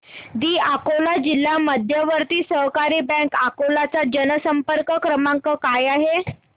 दि अकोला जिल्हा मध्यवर्ती सहकारी बँक अकोला चा जनसंपर्क क्रमांक काय आहे